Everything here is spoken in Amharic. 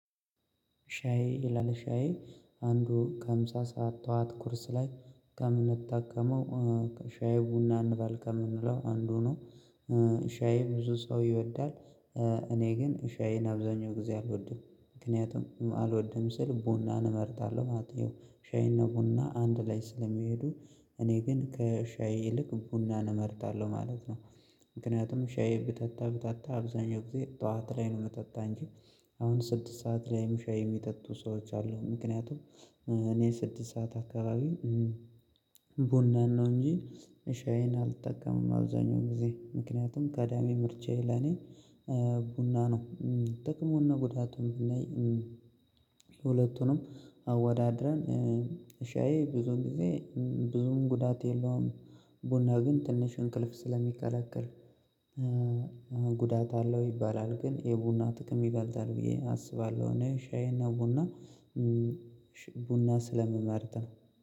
ሻዬ ይላል ሻዬ አንዱ ከምሳ ሰዓት ተዋት ኩርስ ላይ ከእምነት ታከመው ከሻይ ቡና እንባል ከምንለው አንዱ ነው። ሻይ ብዙ ሰው ይወዳል እኔ ግን ሻዬን አብዛኛው ጊዜ አልወድም። ምክንያቱም አልወድም ስል ቡናን እመርታለሁ ማለት ነው። ሻዬ አና ቡና አንድ ላይ ስለሚሄዱ እኔ ግን ከሻይ ይልቅ ቡናን እመርታለሁ ማለት ነው። ምክንያቱም ሻይ ብተታ ብተታ አብዛኛው ጊዜ ጡዋት ላይ ነው የምተታ እንጂ አሁን ስድስት ሰዓት ላይም ሻይ የሚጠጡ ሰዎች አሉ ምክንያቱም እኔ ስድስት ሰዓት አከባቢ ቡና ነው እንጂ ሻዬን አልጠቀምም አብዛኛው ጊዜ ምክንያቱም ከዳሜ ምርቻዬ ለኔ ቡና ነው ጥቅሙንና ጉዳቱን ብናይ ለሁለቱንም አወዳድረን ሻዬ ብዙ ጊዜ ብዙም ጉዳት የለውም ቡና ግን ትንሽ እንቅልፍ ስለሚከለክል ጉዳት አለው ይባላል ግን የቡና ጥቅም ይበልጣል ብዬ አስባለሁ እኔ ሻዬና ቡና ቡና ስለምመርጥ ነው።